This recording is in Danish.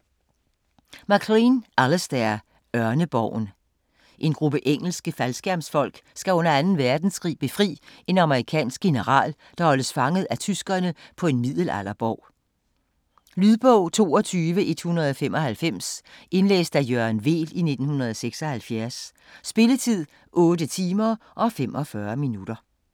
MacLean, Alistair: Ørneborgen En gruppe engelske faldskærmsfolk skal under 2. verdenskrig befri en amerikansk general, der holdes fanget af tyskerne på en middelalderborg. Lydbog 22195 Indlæst af Jørgen Weel, 1976. Spilletid: 8 timer, 45 minutter.